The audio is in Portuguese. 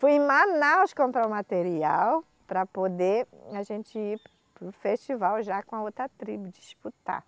Fui em Manaus comprar o material para poder a gente ir para o festival já com a outra tribo, disputar.